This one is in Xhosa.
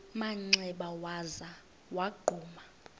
manxeba waza wagquma